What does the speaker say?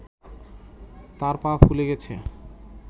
তাঁর পা ফুলে গেছে